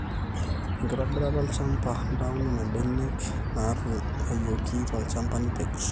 enkitobirata olchamba. ntau nena benek naatung'wayioki tolchamba nipej